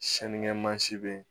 Sinikɛmasi bɛ yen